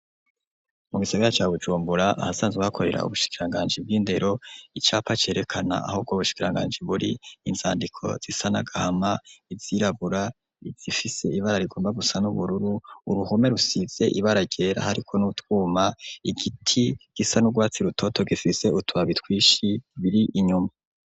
Mu Gisagara ca Bujumbura ahasanzwe hakorera ubushikiranganji bwindero icapa cerekana aho ubwo bushikiranganji Buri izandiko zisa nagahama, izirabura ,izifise ibara rigomba gusa nubururu Uruhome rusize ibara ryera hariko nutwuma igiti gifise nurwatsi rutoto gifise utubabi twinshi inyuma.